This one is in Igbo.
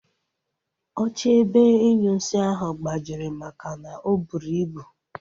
Oche ebe inyunsi ahụ gbajiri makana o buru ibu